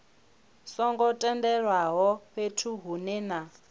songo tendelwaho fhethu hunwe na